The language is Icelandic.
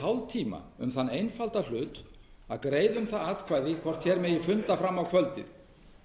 hálftíma um þann einfalda hlut að greiða um það atkvæði hvort hér mætti funda fram á kvöldið